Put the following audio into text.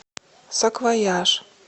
саквояж